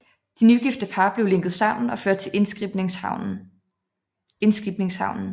De nygifte par blev lænket sammen og ført til indskibningshavnen